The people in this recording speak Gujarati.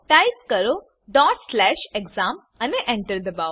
ટાઈપ કરો exam અને Enter દબાવો